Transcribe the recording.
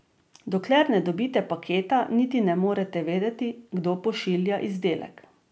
Dokler ne dobite paketa, niti ne morete vedeti, kdo pošilja izdelek.